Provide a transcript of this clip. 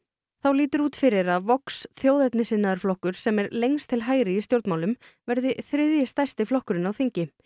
þá lítur út fyrir að Vox þjóðernissinnaður flokkur sem er lengst til hægri í stjórnmálum verði þriðji stærsti flokkurinn á þingi